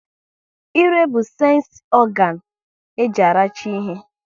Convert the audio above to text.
Ịre bụ sensi ọganu e ji aracha ihe